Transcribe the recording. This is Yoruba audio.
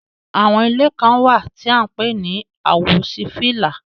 Àwọn ìlẹ̀ kan wa tí à ǹ pẹ̀ ni àwòsífílà.